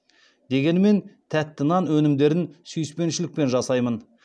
дегенімен тәтті нан өнімдерін сүйіспеншілікпен жасаймын